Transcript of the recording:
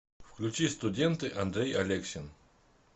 включи студенты андрей алексин